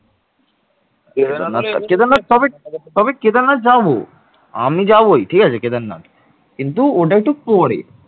কেদারনাথ তবে, তবে কেদারনাথ যাবো আমি যাবোই ঠিক আছে কেদারনাথ কিন্তু ওটা একটু পরে